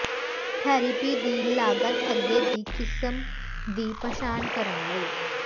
therapy ਦੀ ਲਾਗਤ ਅੱਗੇ ਦੀ ਕਿਸਮ ਦੀ ਪਛਾਣ ਕਰਨ ਲਈ